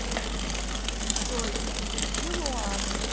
джой включи луану